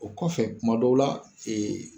O kɔfɛ kuma dɔw la ee